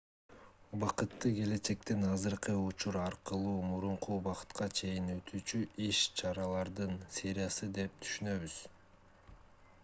убакытты келечектен азыркы учур аркылуу мурунку убакытка чейин өтүүчү иш-чаралардын сериясы деп түшүнөбүз